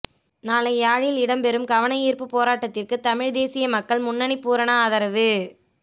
நாளை யாழில் இடம்பெறும் கவனயீர்ப்பு போராட்டத்திற்கு தமிழ்த் தேசிய மக்கள் முன்னணி பூரண ஆதரவு